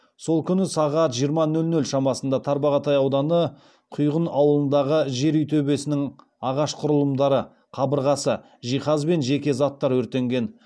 сол күні сағат жиырма нөл нөл шамасында тарбағатай ауданы құйған ауылындағы жер үй төбесінің ағаш құрылымдары қабырғасы жиһаз бен жеке заттар өртенген